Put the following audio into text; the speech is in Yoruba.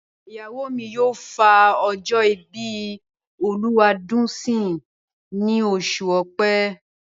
Ìyàwó mi yóò fa ọjọ́ ìbí Olúwadùnńsìn ní oṣù Ọ̀pẹ.